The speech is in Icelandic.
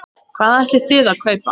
Hvað ætlið þið að kaupa?